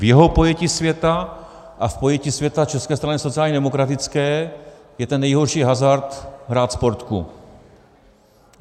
V jeho pojetí světa a v pojetí světa České strany sociálně demokratické je ten nejhorší hazard hrát Sportku.